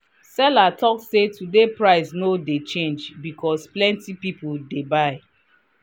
seller talk say today price no dey change because plenty people dey buy.